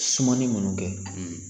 Sumani minnu kɛ